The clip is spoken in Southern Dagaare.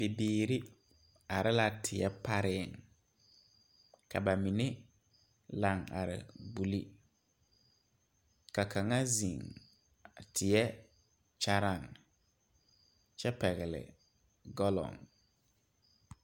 Bibiiri are la teɛ pare ,ka ba mine laŋ are gbeli ka kaŋa zeŋ teɛ kyɛre kyɛ pegle galoŋ.